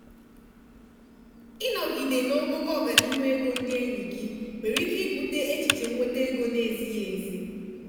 ịnọgide n'ogogo ọganihu ego ndị enyi gị nwere ike ibute echiche nwete ego na-ezighị ezi.